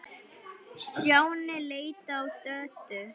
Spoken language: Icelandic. Stjáni leit á Döddu.